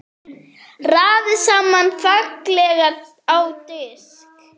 Raðið saman fallega á disk.